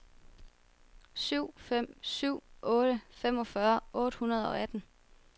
syv fem syv otte femogfyrre otte hundrede og atten